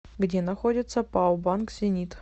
где находится пао банк зенит